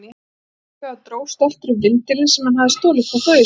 Hann afþakkaði og dró stoltur upp vindilinn sem hann hafði stolið frá föður sínum.